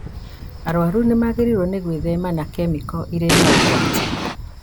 Arwaru nĩmagĩrĩirwo nĩ gwĩthema na kemiko irĩ na ũgwati